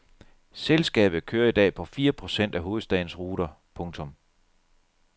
Selskabet kører i dag på fire procent af hovedstadens ruter. punktum